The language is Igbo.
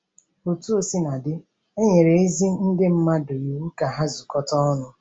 Otú o sina dị, e nyere ezi ndị mmadụ iwu ka ha zukọta ọnụ.